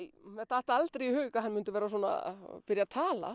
mér datt aldrei í hug að hann myndi byrja að tala